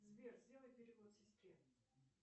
сбер сделай перевод сестре